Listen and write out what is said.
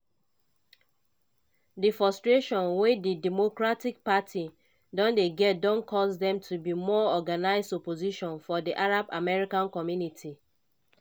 di frustration wey di democratic party don dey get don cause dem to be more organised opposition for di arab american community.